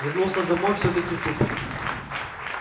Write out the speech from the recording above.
вернулся домой всё-таки тупик